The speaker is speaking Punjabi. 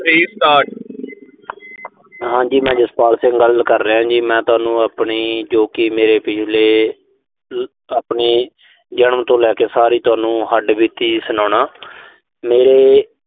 ਹਾਂਜੀ ਮੈਂ ਜਸਪਾਲ ਸਿੰਘ ਗੱਲ ਕਰ ਰਿਹਾਂ ਜੀ। ਮੈਂ ਤੁਹਾਨੂੰ ਆਪਣੀ ਜੋ ਕਿ ਮੇਰੇ ਪਿਛਲੇ ਅਹ ਆਪਣੇ ਜਨਮ ਤੋਂ ਲੈ ਕੇ ਸਾਰੀ ਤੁਹਾਨੂੰ ਹੱਡਬੀਤੀ ਸੁਣਾਉਣਾ। ਮੇਰੇ